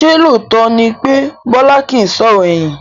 Ṣé lóòótọ́ ni pé Bọlá kìí sọ̀rọ̀ ẹ̀yìn?